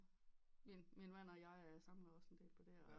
Min min mand jeg jeg samler også en del på det og